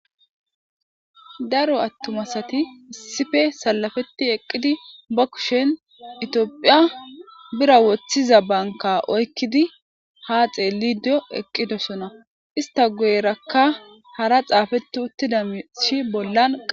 daro attumasati issife salafeti eqqidi ba kushen itiophiya bira woththiza banka oykkidi haa xeellidio eqqidosona ista goyerakka hara xaafeti uttida mishi bollanq